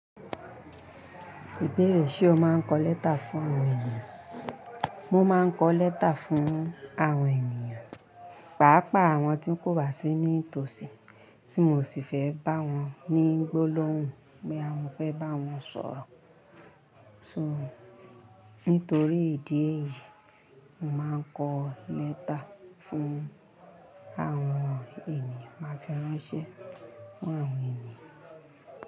Ìbéèrè, ṣe o máa ń kọ lẹ́tà fún àwọn ènìyàn? Mo máa ń kọ lẹ́tà fún àwọn ènìyàn, pàápàá àwọn tí ń kò wá sí ní tòsí, tí mo sì fẹ́ bá wọn ní gbólóhùn bí àwọn fẹ́ bá wọn sọ̀rọ̀. Nítorí ìdí èyí, mo máa ń kọ lẹ́tà fún àwọn ènìyàn, máa fi ráńṣẹ́ fún àwọn ènìyàn.